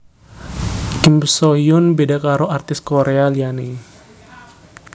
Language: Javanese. Kim Soo Hyun beda karo artis Korea liyane